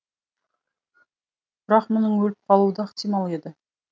бірақ мұның өліп қалуы да ықтимал еді